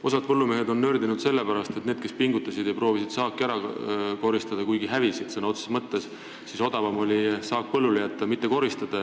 Osa põllumehi on nördinud sellepärast, et need, kes pingutasid ja proovisid saaki ära koristada, hävisid sõna otseses mõttes, sest odavam olnuks saak põllule jätta ja mitte seda koristada.